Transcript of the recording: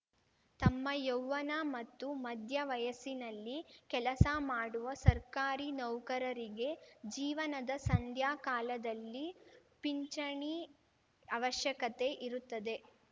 ತಮ್ಮ ಯೌವ್ವನ ಮತ್ತು ಮಧ್ಯ ವಯಸ್ಸಿನಲ್ಲಿ ಕೆಲಸ ಮಾಡುವ ಸರ್ಕಾರಿ ನೌಕರರಿಗೆ ಜೀವನದ ಸಂಧ್ಯಾ ಕಾಲದಲ್ಲಿ ಪಿಂಚಣಿ ಅವಶ್ಯಕತೆ ಇರುತ್ತದೆ